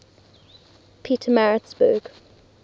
pietermaritzburg